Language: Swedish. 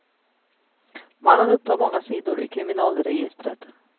Mannen upptar många sidor i kriminalregistret.